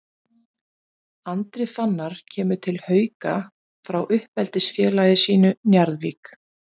Andri Fannar kemur til Hauka frá uppeldisfélagi sínu Njarðvík.